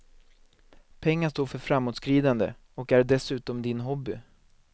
Pengar står för framåtskridande, och är dessutom din hobby.